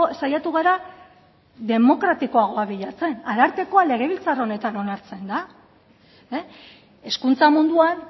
saiatu gara demokratikoagoa bilatzen arartekoa legebiltzar honetan onartzen da hezkuntza munduan